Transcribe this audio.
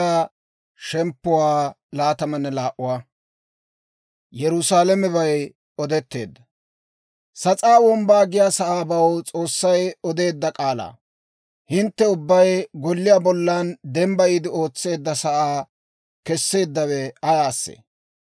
Sas'aa Wombbaa giyaa sa'aabaw S'oossay odeedda k'aalaa. Hintte ubbay golliyaa bollan dembbayiide ootseedda sa'aa keseeddawe ayaasee?